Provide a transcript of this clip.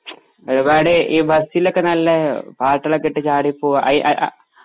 ഒരുപാടു ഈ ബസിലൊക്കെ നല്ല പാട്ടുകളൊക്കെയിട്ട് ചാടി പോവുക അയ് എ ആ